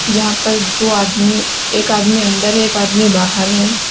जहां पर दो आदमी एक आदमी अंदर है एक आदमी बाहर है।